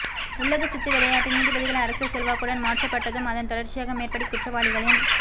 உள்ளக சித்து விளையாட்டே நீதிபதிகள் அரசியல் செல்வாக்குடன் மாற்ற பட்டதும் அதன் தொடர்ச்சியாக மேற்படி குற்றவாளிகளின்